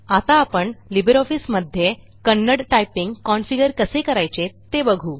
आता आपण लिबर ऑफिसमध्ये कन्नड टायपिंग कॉन्फिगर कसे करायचे ते बघू